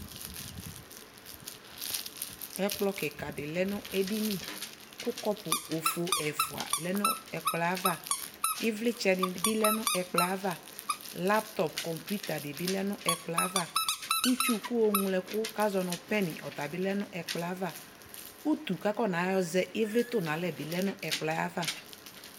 Ɛkplɔ kɩkadɩ lɛ nʋ edini, kʋ kɔpʋ bofo ɛfʋalɛ nʋ ɛkplɔɛ ava ɩvlɩtsɛnɩ bɩ lɛ nʋ ɛkplɔɛ ava ; laŋtɔp kɔpuitadɩ bɩ lɛ n'ɛkplɔɛava, itsuku oŋloɛkʋ k'azɔ nʋ pɛn ɔta bɩ lɛ n'ɛkplɔɛ ava, utu kakɔna yɔ zɛ ɩvlɩ tʋn'alɛ bi lɛ nʋ ɛkplɔɛ ava